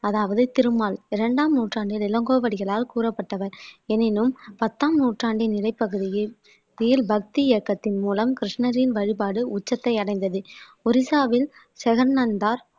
அதாவது திருமால் இரண்டாம் நூற்றாண்டில் இளங்கோவடிகளால் கூறப்பட்டவர் எனினும் பத்தாம் நூற்றாண்டின் இடைப்பகுதியில் வீல் பக்தி இயக்கத்தின் மூலம் கிருஷ்ணரின் வழிபாடு உச்சத்தை அடைந்தது ஒரிசாவில் ஜெகன் நந்தா